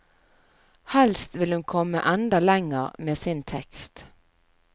Helst vil hun komme enda lenger med sin tekst.